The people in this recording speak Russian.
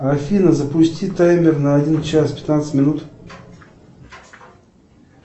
афина запусти таймер на один час пятнадцать минут